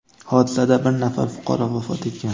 Hodisada bir nafar fuqaro vafot etgan.